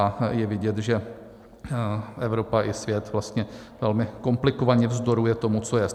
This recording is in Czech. A je vidět, že Evropa i svět vlastně velmi komplikovaně vzdoruje tomu, co je.